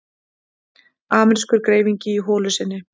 Amerískur greifingi í holu sinni.